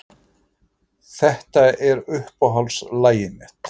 Þetta er uppáhaldslagið mitt.